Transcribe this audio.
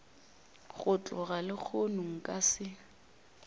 go tloga lehono nka se